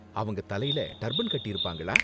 அவங்க தலைல டர்பன் கட்டியிருப்பாங்களா?